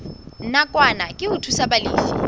nakwana ke ho thusa balefi